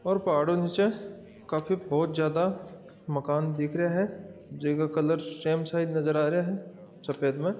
और पहाड हु निचे काफी ज्यादा बहुत ज्यादा मकान दिख रहिया है जिनका कलर सैम नजर आ रहा है सफ़ेद में--